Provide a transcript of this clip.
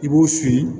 I b'u siri